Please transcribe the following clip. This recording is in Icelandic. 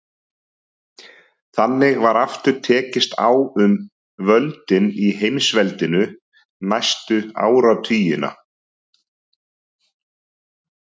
Þannig var aftur tekist á um völdin í heimsveldinu næstu áratugina.